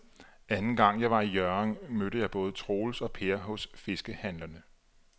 Anden gang jeg var i Hjørring, mødte jeg både Troels og Per hos fiskehandlerne.